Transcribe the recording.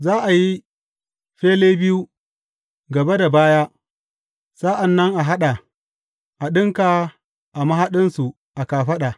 Za a yi fele biyu, gaba da baya, sa’an nan a haɗa, a ɗinka a mahaɗinsu a kafaɗa.